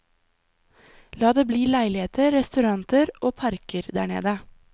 La det bli leiligheter, restauranter og parker der nede.